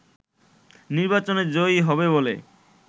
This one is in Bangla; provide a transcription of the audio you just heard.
নির্বাচনে জয়ী হবে বলে